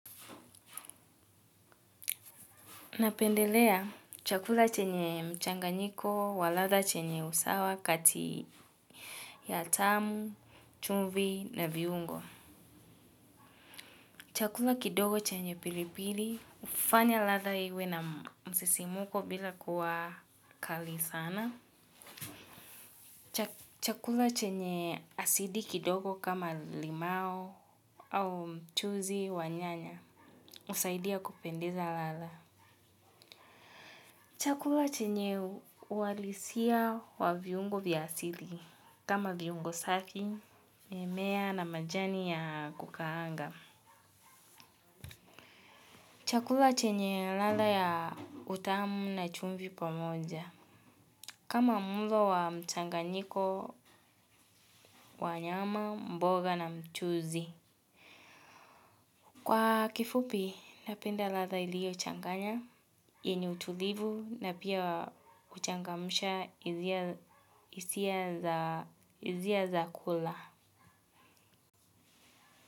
Napendelea chakula chenye mchanganyiko wa ladha chenye usawa kati ya tamu, chumvi na viungo. Chakula kidogo chenye pilipili, hufanya ladha iwe na msisimuko bila kuwa kali sana. Chakula chenye asidi kidogo kama limau au mchuzi wa nyanya, husaidia kupendeza ladha. Chakula chenye uhalisia wa viungo vya asili. Kama viungo safi, mimea na majani ya kukaanga. Chakula chenye ladha ya utamu na chumvi pamoja. Kama mlo wa mchanganyiko, wa nyama, mboga na mchuzi. Kwa kifupi, napenda latha iliochanganya, yenye utulivu na pia huchangamsha hisia hisia za kula.